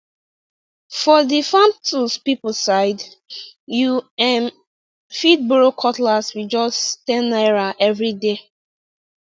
for the farm tools people side you um fit borrow cutlass with just ten naira every day